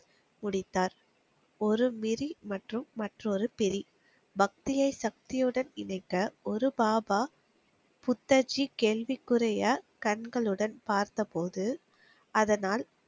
முடித்தார். ஒரு மிதி மற்றும் மற்றொரு பெரி. பக்தியை சக்தியுடன் இணைக்க, ஒரு பாபா, புத்தஜி கேள்விக்குரிய கண்களுடன் பார்த்த போது, அதனால்